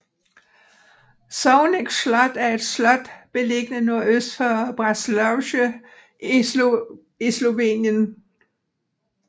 Žovnek slot er et slot beliggende nordøst for Braslovče i Slovenien